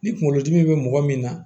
Ni kunkolodimi bɛ mɔgɔ min na